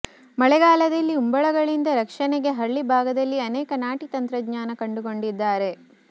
ಮಳೆಗಾಲದಲ್ಲಿ ಉಂಬಳಗಳಿಂದ ರಕ್ಷಣೆಗೆ ಹಳ್ಳಿ ಭಾಗದಲ್ಲಿ ಅನೇಕ ನಾಟಿ ತಂತ್ರಜ್ಞಾನ ಕಂಡುಕೊಂಡಿದ್ದಾರೆ